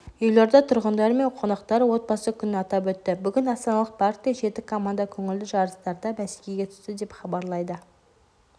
елорда тұрғындары мен қонақтары отбасы күнін атап өтті бүгін астаналық паркте жеті команда көңілді жарыстарда бәсекеге түсті деп хабарлайды